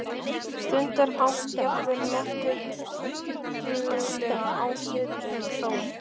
stundarhátt, jafnvel nokkuð höstuglega, án svipbrigða þó.